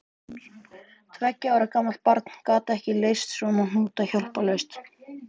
Tveggja ára gamalt barn gat ekki leyst svona hnúta hjálparlaust.